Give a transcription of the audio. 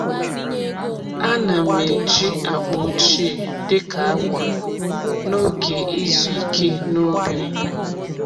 A na'm eji akpa ochie dị ka akwa n’oge izu ike n’ubi.